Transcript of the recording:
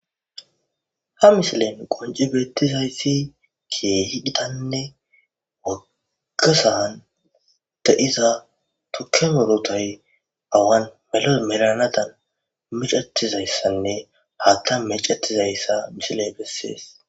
Ha missilen qoncci bettizayisi kehi gitanne wogga sa'an de'izza tukke murutay awan mello mallanadan miccetizaysane haththan meccetizayisa missiley beeses.